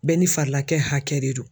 Bɛɛ ni farilakɛ hakɛ de don.